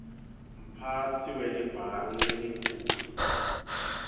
mphatsi welibhangi lelikhulu